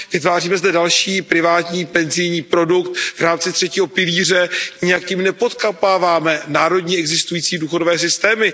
Vytváříme zde další privátní penzijní produkt v rámci třetího pilíře, nijak tím nepodkopáváme národní existující důchodové systémy.